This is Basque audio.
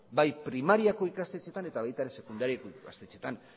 bai primariako ikastetxeetan eta baita ere sekundariako ikastetxeetan